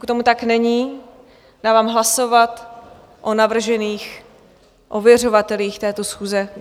Pokud tomu tak není, dávám hlasovat o navržených ověřovatelích této schůze.